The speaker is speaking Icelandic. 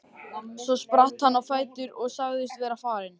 Svo spratt hann á fætur og sagðist vera farinn.